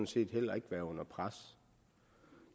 set heller ikke være under pres